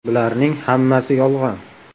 Bularning hammasi yolg‘on.